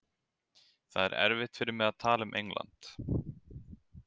Það er erfitt fyrir mig að tala um England.